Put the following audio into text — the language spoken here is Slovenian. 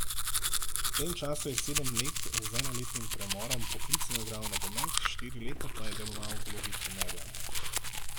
V tem času je sedem let, z enoletnim premorom, poklicno igral nogomet, štiri leta pa je deloval v vlogi trenerja.